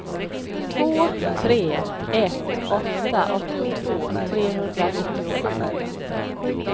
två tre ett åtta åttiotvå trehundranittiosju